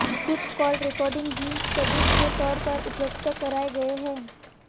कुछ call recording भी सबूत के तौर पर उपलब्ध कराए गए हैं